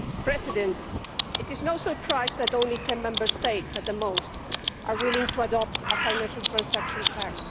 Mr President, it is no surprise that only ten Member States at most are willing to adopt a financial transaction tax.